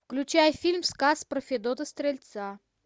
включай фильм сказ про федота стрельца